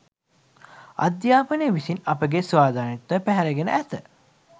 අධ්‍යාපනය විසින් අපගේ ස්වාධීනත්වය පැහැරගෙන ඇත